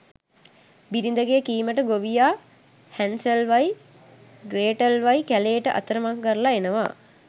බිරිඳගෙ කීමට ගොවියා හැන්සල්වයි ග්‍රේටල්වයි කැලේට අතරමං කරලා එනවා